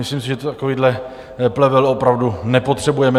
Myslím si, že takovýhle plevel opravdu nepotřebujeme.